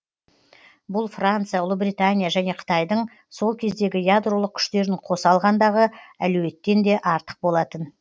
бұл франция ұлыбритания және қытайдың сол кездегі ядролық күштерін қоса алғандағы әлеуеттен де артық болатын